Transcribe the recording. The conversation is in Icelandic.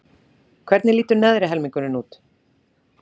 Hvernig lítur neðri helmingurinn út?